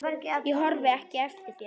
Ég horfi ekki eftir þér.